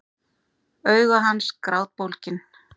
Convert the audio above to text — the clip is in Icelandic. Augu hans grátbólgin.